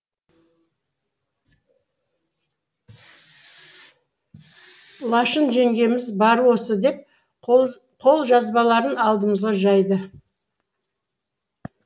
лашын жеңгеміз бары осы деп қолжазбаларын алдымызға жайды